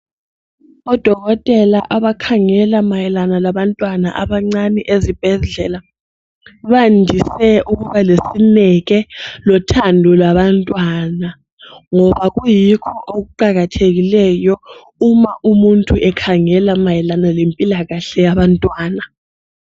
Odokotela abakhangela mayelana labantwana abancane ezibhedlela bayandise ukuba lesineke lothando labantwana ngoba kuyikho okuqakathekileyo uma umuntu ekhangela mayelana lempilakahle yabantwana.